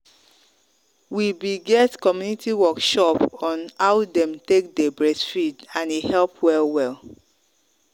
we be get community workshop on how them take day breastfeed and e help well well.